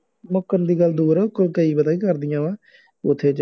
ਮੁੱਕਰਨ ਦੀ ਗੱਲ ਦੂਰ ਆ ਕਈ ਪਤਾ ਕੀ ਕਰਦੀਆਂ ਵਾ ਉੱਥੇ